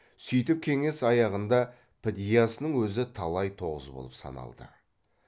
сүйтіп кеңес аяғында підиясының өзі талай тоғыз болып саналды